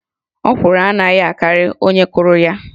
Ọkwụrụ anaghị akarị onye kụrụ ya